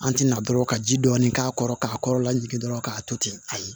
An ti na dɔrɔn ka ji dɔɔni k'a kɔrɔ k'a kɔrɔla jigin dɔrɔn k'a to ten ayi